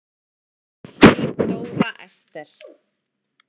Þín Dóra Esther.